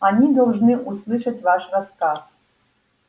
они должны услышать ваш рассказ